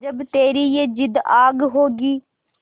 जब तेरी ये जिद्द आग होगी